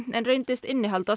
en reyndist innihalda